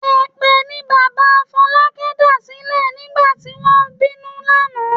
Èpè ni bàbá Fọlákẹ́ dàsílẹ̀ nígbà tí wọ́n ń bínú lánàá.